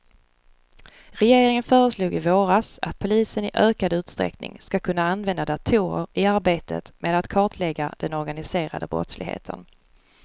Regeringen föreslog i våras att polisen i ökad utsträckning ska kunna använda datorer i arbetet med att kartlägga den organiserade brottsligheten.